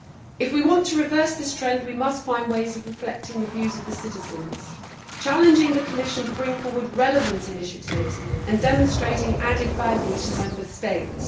If we want to reverse this trend we must find ways of reflecting the views of the citizens, challenging the Commission to bring forward relevant initiatives and demonstrating added value to Member States.